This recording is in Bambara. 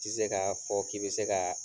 Tɛ se ka fɔ k'i bɛ se ka